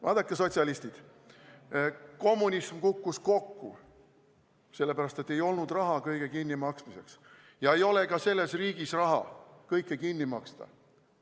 Vaadake, sotsialistid, kommunism kukkus kokku sellepärast, et ei olnud raha kõige kinnimaksmiseks, ja ei ole ka selles riigis raha kõike kinni maksta.